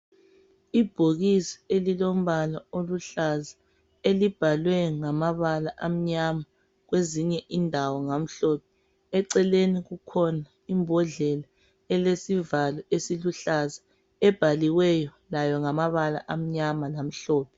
Ibhokisi elilombala oluhlaza elibhalwe ngamabala amnyama kwezinye indawo ngamhlophe. Eceleni kukhona imbodlela elesivalo esiluhlaza ebhaliweyo layo ngamabala amnyama lamhlophe.